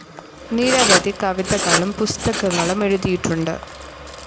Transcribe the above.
നിരവധി കവിതകളും പുസ്തകങ്ങളും എഴുതിയിട്ടുണ്ട്.